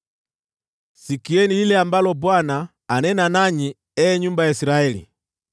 Sikieni lile ambalo Bwana , anena nanyi ee nyumba ya Israeli.